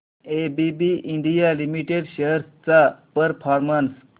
ABB India limited shares चा performance